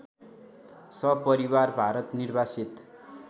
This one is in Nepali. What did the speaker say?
सपरिवार भारत निर्वासित